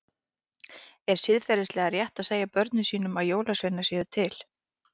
Er siðferðilega rétt að segja börnum sínum að jólasveinar séu til?